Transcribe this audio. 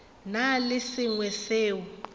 na le se sengwe seo